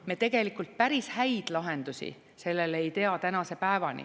Me tegelikult päris häid lahendusi sellele ei tea tänase päevani.